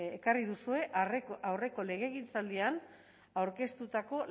ekarri duzue aurreko legegintzaldian aurkeztutako